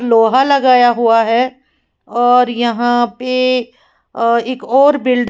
लोहा लगाया हुआ है और यहां पे अ एक और बिल--